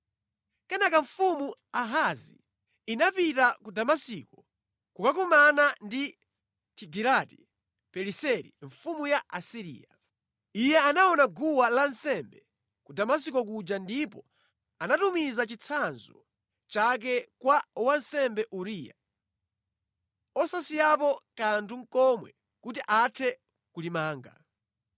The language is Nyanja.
Kenaka mfumu Ahazi inapita ku Damasiko kukakumana ndi Tigilati-Pileseri mfumu ya ku Asiriya. Iye anaona guwa lansembe ku Damasiko kuja ndipo anatumiza chitsanzo chake kwa wansembe Uriya, osasiyapo nʼkanthu komwe kuti athe kulimanga.